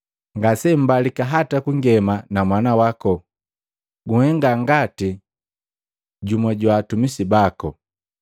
Ngasembalika hata kungema na mwana wako, gunhenga ngati jumwa jwa atumisi bako.”